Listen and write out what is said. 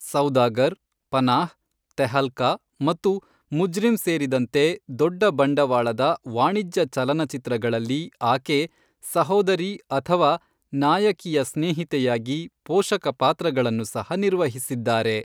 ಸೌದಾಗರ್, ಪನಾಹ್, ತೆಹಲ್ಕಾ ಮತ್ತು ಮುಜ್ರಿಮ್ ಸೇರಿದಂತೆ ದೊಡ್ಡ ಬಂಡವಾಳದ ವಾಣಿಜ್ಯ ಚಲನಚಿತ್ರಗಳಲ್ಲಿ ಆಕೆ ಸಹೋದರಿ ಅಥವಾ ನಾಯಕಿಯ ಸ್ನೇಹಿತೆಯಾಗಿ ಪೋಷಕ ಪಾತ್ರಗಳನ್ನು ಸಹ ನಿರ್ವಹಿಸಿದ್ದಾರೆ.